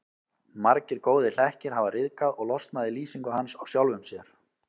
Margir góðir hlekkir hafa ryðgað og losnað í lýsingu hans á sjálfum sér.